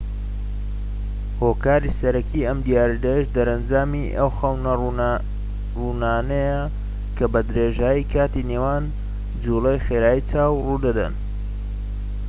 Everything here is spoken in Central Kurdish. هۆکاری سەرەکی ئەم دیاردەیەش دەرئەنجامی ئەو خەونە ڕوونانەیە کە بەدرێژایی کاتی نێوان جوڵەی خێرای چاو ڕوودەدەن